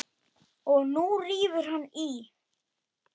Og nú rífur hann í.